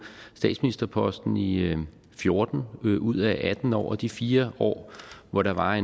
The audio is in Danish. statsministerposten i fjorten ud ud af atten år og i de fire år hvor der var